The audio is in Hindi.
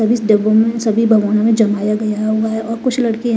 सब इस डब्बों में सभी भगौना में जमाया गया हुआ है और कुछ लड़के--